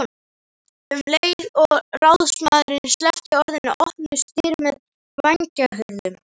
Um leið og ráðsmaðurinn sleppti orðinu opnuðust dyr með vængjahurðum.